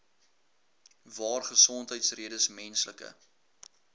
waar gesondheidsredes menslike